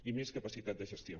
i més capacitat de gestió